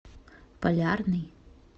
полярный